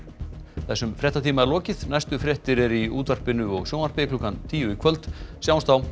þessum fréttatíma er lokið næstu fréttir eru í útvarpi og sjónvarpi klukkan tíu í kvöld sjáumst þá